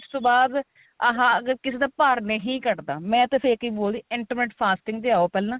diet ਤੋਂ ਬਾਅਦ ਹਾਂ ਅਗਰ ਕਿਸੇ ਦਾ ਭਾਰ ਨਹੀਂ ਘੱਟਦਾ ਮੈਂ ਤਾਂ ਇਹੀ ਬੋਲਦੀ intimate fasting ਤੇ ਆਓ ਪਹਿਲਾਂ